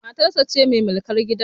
Matarsa ce mai mulkar gidan